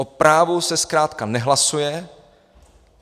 O právu se zkrátka nehlasuje.